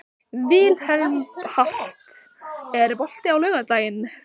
Vilmenhart, er bolti á laugardaginn?